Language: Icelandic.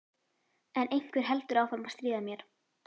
En einhver heldur áfram að stríða mér